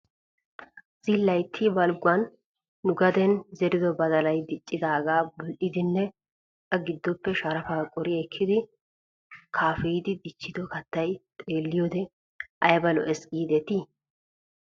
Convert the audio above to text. Zilaytta balgguwan nu gaden zerido badalay dicciyaagaa bul''idinne a giddoppe sharafaa qori ekkidi kaafeyidi dichchido kattay xeelliyoode ayba lo'es giidetii?